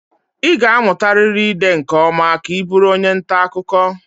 Ị ga-amụtarịrị ide nke ọma ka ị bụrụ onye nta akụkọ